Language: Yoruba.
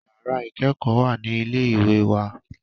Yàrà ìkẹ́kọ̀ọ́ wà ní ilé ìwé wa.